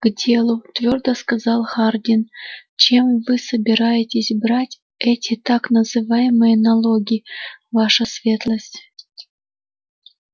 к делу твёрдо сказал хардин чем вы собираетесь брать эти так называемые налоги ваша светлость